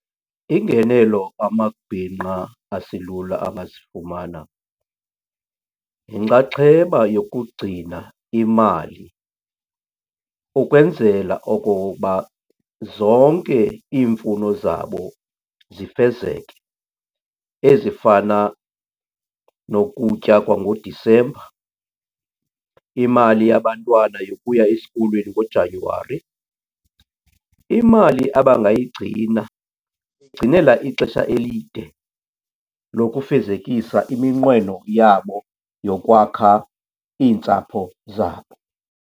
Iingenelo amabhinqa aselula angazifumana yinxaxheba yokugcina imali ukwenzela okoba zonke iimfuno zabo zifezeke ezifana nokutya kwangoDisemba, imali yabantwana yokuya esikolweni ngoJanyuwari. Imali abangayigcina ixesha elide lokufezekisa iminqweno yabo yokwakha iintsapho zabo.